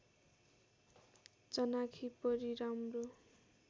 चनाखी परी राम्रो